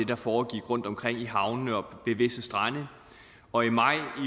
der foregik rundtomkring i havnene og ved visse strande og i maj